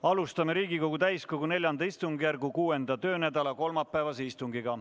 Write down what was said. Alustame Riigikogu täiskogu IV istungjärgu 6. töönädala kolmapäevast istungit.